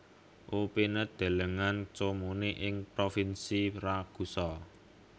Upinet delengen Comuni ing Provinsi Ragusa